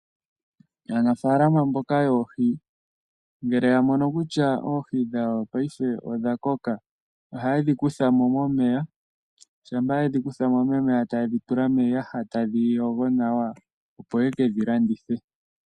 Aanafalama mboka yoohi ngele ya mono kutya oohi dhawo paife odhakoka, ohaye dhikutha mo momeya shampa yedhikutha mo momeya taye dhitula miiyaha taye dhiyogo nawa opo ye ke dhilandithe.